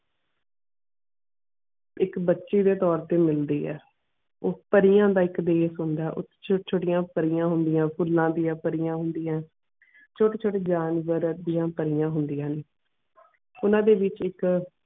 ਇਕ ਬੱਚੀ ਦੇ ਤੋਰ ਤੇ ਮਿਲਦੀਆਂ ਇਕ ਪਰੀਆਂ ਦਾ ਦੇਸ਼ ਹੋਂਦ ਓਥੇ ਛੋਟੀ ਛੋਟੀ ਪਰੀਆਂ ਹੋਂਦਿਆ ਫੂਲਾ ਦੀਆ ਪਰੀਆਂ ਹੋਂਦਿਆ ਛੋਟੀ ਛੋਟੀ ਜਾਨਵਰ ਦੀਆ ਪਰੀਆਂ ਹੋਂਦਿਆ ਨੇ ਓਨਾ ਦੇ ਵਿਚ ਇਕ.